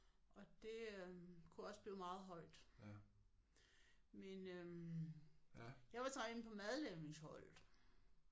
Og det øh kunne også blive meget højt men øh jeg var så inde på madlavningsholdet